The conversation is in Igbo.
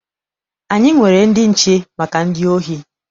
Anyị nwere ndị nche maka ndị ohi.